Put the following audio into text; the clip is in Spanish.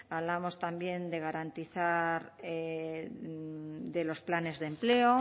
hablábamos también de garantizar de los planes de empleo